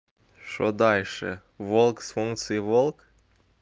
что дальше волк с функцией волк